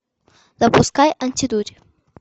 запускай антидурь